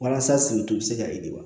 Walasa sigi to bɛ se ka ye wa